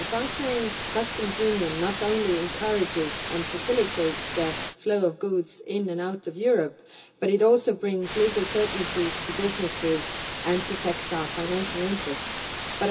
A functioning customs union not only encourages and facilitates the flow of goods in and out of Europe but also brings legal certainty to businesses and protects our financial interests. But